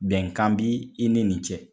Bɛnkan bi i ni nin cɛ.